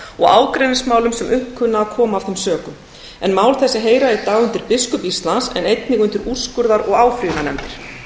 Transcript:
og ágreiningsmálum sem upp kunna að koma af þeim sökum en mál þessi heyra í dag undir biskup íslands en einnig undir úrskurðar og áfrýjunarnefndir